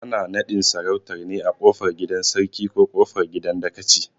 Ana naɗin sarautar ne a kofar gidan Sarkin ko kofar gidan dakaci